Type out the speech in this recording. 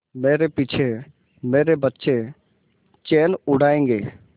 मेरे पीछे मेरे बच्चे चैन उड़ायेंगे